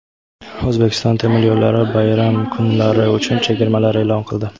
"O‘zbekiston temir yo‘llari" bayram kunlari uchun chegirmalar e’lon qildi.